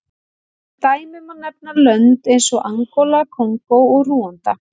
Sem dæmi má nefna lönd eins og Angóla, Kongó og Rúanda.